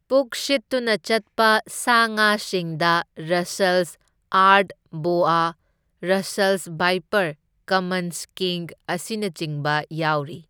ꯄꯨꯛ ꯁꯤꯠꯇꯨꯅ ꯆꯠꯄ ꯁꯥ ꯉꯥꯁꯤꯡꯗ Russell's earth boa, Russell's viper, common skink ꯑꯁꯤꯅꯆꯤꯡꯕ ꯌꯥꯎꯔꯤ꯫